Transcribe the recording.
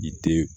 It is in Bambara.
I te